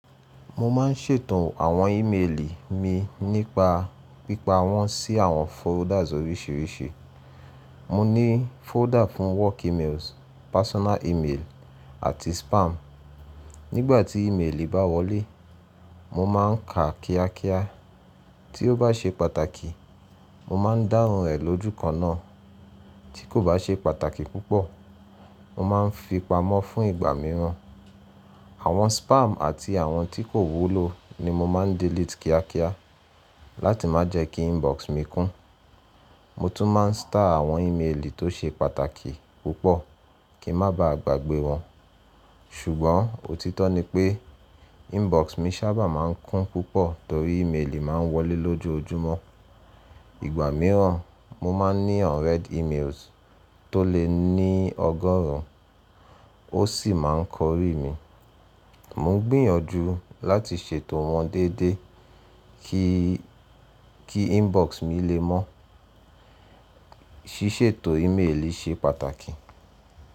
Mo má n ṣètò àwọn ímeèlì mi nípa pípa wọ́n sí àwọn folders oríṣiríṣi. Mo ní folder fún work emails, personal email, àti spam. Nígbàtí ímeèlì bá wọlé, mo má n ka kíá kíá. Tí ó bá ṣe pàtàkì, mo má n dáhùn rẹ̀ lójúkan náà. Tí kò bá ṣe pàtàkì púpọ̀, mo má n fipamọ́ fún ìgbà mìíràn. Àwọn spam àti àwọn tí kò wúlò ni mo má n delete kíá kíá láti má jẹ́ kí inbox mi kún. Mo tún má n star àwọn ímeèlì tó ṣe pàtàkì púpọ̀ kí n má bá à gbàgbé wọn. Ṣùgbọ́n òtítọ́ ni pé inbox mi sábà má n kún púpọ̀ torí ímeèlì má n wọlé lójojúmọ́. Ìgbà mìíràn mo má n ní unread emails tó lè ní ọgọ́rùn ún, ó sì má n kórìí mi. Mo ń gbìyànjú láti ṣètò wọn dédé kí, kí inbox mi lé mọ́. Síṣètò ímeèlì ṣe pàtàkì.